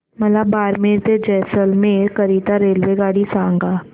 मला बारमेर ते जैसलमेर करीता रेल्वेगाडी सांगा